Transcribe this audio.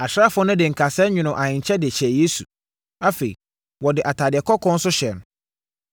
Asraafoɔ no de nkasɛɛ nwonoo ahenkyɛ de hyɛɛ Yesu; afei, wɔde atadeɛ kɔkɔɔ nso hyɛɛ no.